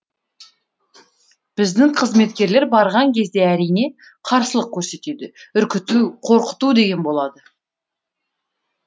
біздің қызметкерлер барған кезде әрине қарсылық көрсетеді үркіту қорқыту деген болады